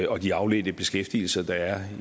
og de afledte beskæftigelser der er